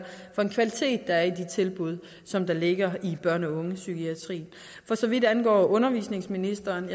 for en kvalitet der er i de tilbud som der ligger i børn og unge psykiatrien for så vidt angår undervisningsministeren og